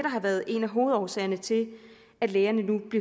har været en af hovedårsagerne til at lægerne nu